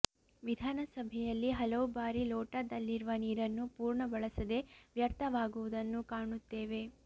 ವಿಧಾನಸಭೆಯಲ್ಲಿ ಹಲವು ಬಾರಿ ಲೋಟದಲ್ಲಿರುವ ನೀರನ್ನು ಪೂರ್ಣ ಬಳಸದೆ ವ್ಯರ್ಥವಾಗುವುದನ್ನು ಕಾಣುತ್ತೇವೆ